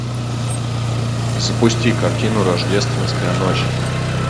запусти картину рождественская ночь